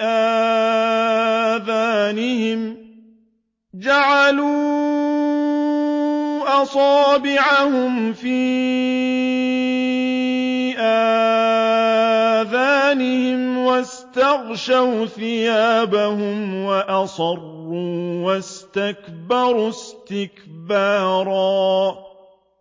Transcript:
آذَانِهِمْ وَاسْتَغْشَوْا ثِيَابَهُمْ وَأَصَرُّوا وَاسْتَكْبَرُوا اسْتِكْبَارًا